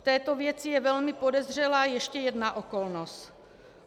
V této věci je velmi podezřelá ještě jedna okolnost.